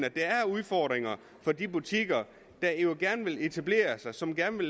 udfordringer for de butikker der jo gerne vil etablere sig som gerne